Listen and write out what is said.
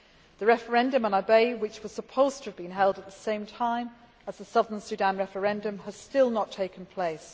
The referendum on Abyei, which was supposed to have been held at the same time as the Southern Sudan referendum, has still not taken place.